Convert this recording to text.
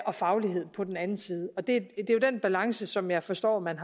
og faglighed på den anden side og det er jo den balance som jeg forstår at man